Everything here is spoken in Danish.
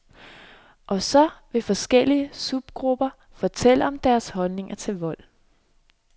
Og så vil forskellige subgrupper fortælle om deres holdning til vold.